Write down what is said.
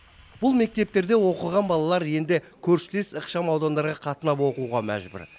бұл мектептерде оқыған балалар енді көршілес ықшамаудандарға қатынап оқуға мәжбүр